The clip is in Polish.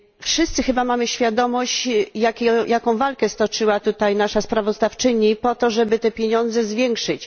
Wszyscy chyba mamy świadomość, jaką walkę stoczyła tutaj nasza sprawozdawczyni po to, żeby te pieniądze zwiększyć.